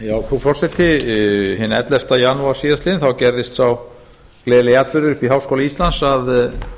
frú forseti hinn ellefta janúar síðastliðinn gerðist sá gleðilegi atburður uppi í háskóla íslands að